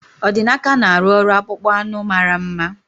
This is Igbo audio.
Odinaka na-arụ ọrụ akpụkpọ anụ mara mma